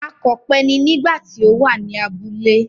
Akọ̀pẹ ni nígbà tí ó wà ní abúlé.